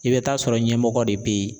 I bɛ taa sɔrɔ ɲɛmɔgɔ de bɛ ye.